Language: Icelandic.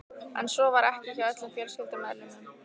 En svo var ekki hjá öllum fjölskyldumeðlimum.